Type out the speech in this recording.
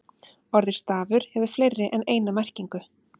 Orðið stafur hefur fleiri en eina merkingu.